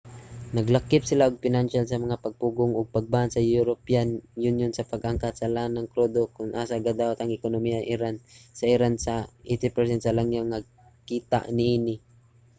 naglakip sila ug pinansyal na mga pagpugong og pag-ban sa european union sa pag-angkat sa lanang krudo kon asa gadawat ang ekonomiya sa iran sa 80% sa langyaw nga kita niini